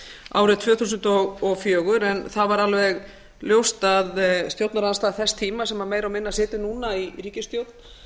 árið tvö þúsund og fjögur en það var alveg ljóst að stjórnarandstaða þess tíma sem meira og minna situr núna í ríkisstjórn